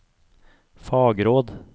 fagråd